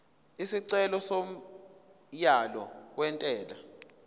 isicelo somyalo wentela